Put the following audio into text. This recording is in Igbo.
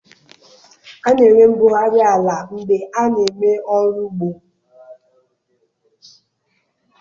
A na-enwe mbugharị ala mgbe a na eme ọrụ ugbo.